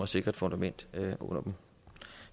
sikre fundamentet under dem